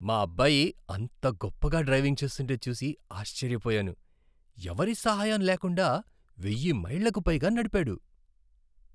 మా అబ్బాయి అంత గొప్పగా డ్రైవింగ్ చేస్తుంటే చూసి ఆశ్చర్యపోయాను! ఎవరి సహాయం లేకుండా వెయ్యి మైళ్ళకు పైగా నడిపాడు!